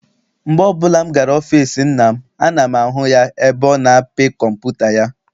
Mgbe ọbụla m gara n'ọfịịsi nna m, ana m ahụ ya ebe ọ na-apị kọmputa ya.